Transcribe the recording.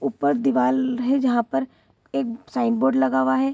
ऊपर दीवार है जहां पर एक साइन बोर्ड लगा हुआ है।